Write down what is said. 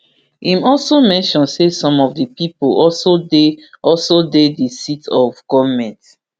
im also mention say some of di pipo also dey also dey di seat of goment